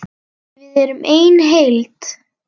Við erum ein heild!